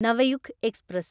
Navyug express